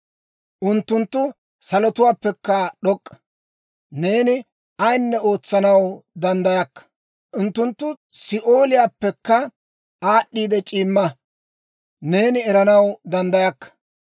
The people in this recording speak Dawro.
Unttunttu salotuwaappekka d'ok'k'a; neeni ayinne ootsanaw danddayakka. Unttunttu Si'ooliyaappekka aad'd'eeda c'iimma; neeni eranaw danddayakka.